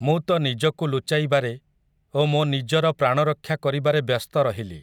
ମୁଁ ତ ନିଜକୁ ଲୁଚାଇବାରେ, ଓ ମୋ ନିଜର ପ୍ରାଣରକ୍ଷା କରିବାରେ ବ୍ୟସ୍ତ ରହିଲି ।